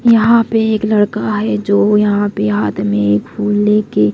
यहां पे एक लड़का है जो यहां पे हाथ में फूल लेके--